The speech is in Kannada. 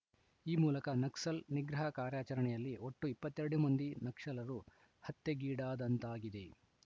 ಈ ಮೂಲಕ ನಕ್ಸಲ್‌ ನಿಗ್ರಹ ಕಾರ್ಯಾಚರಣೆಯಲ್ಲಿ ಒಟ್ಟು ಇಪ್ಪತ್ತೆರಡು ಮಂದಿ ನಕ್ಸಲರು ಹತ್ಯೆಗೀಡಾದಂತಾಗಿದೆ